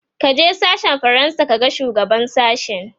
kaje sashen fransa ka ga shugaban sashen!